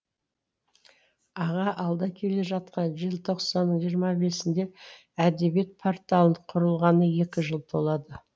аға алда келе жатқан желтоқсанның жиырма бесінде әдебиет порталының құрылғанына екі жыл толады